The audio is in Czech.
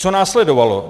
Co následovalo?